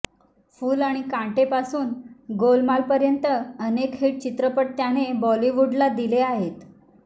फुल और कांटेपासून गोलमालपर्यंत अनेक हिट चित्रपट त्याने बॉलीवूडला दिले आहेत